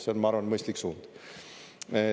See on, ma arvan, mõistlik suund.